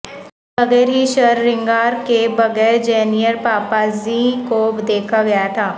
بغیر ہی شررنگار کے بغیر جینیر پاپاززی کو دیکھا گیا تھا